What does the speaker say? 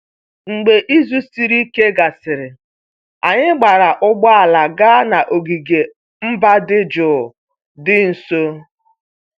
Mgbe izu siri ike gasịrị, anyị gbaara ụgbọ ala gaa n'ogige mba dị jụụ dị nso